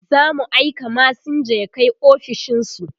zamu aika masinja ya Kai ofishinsu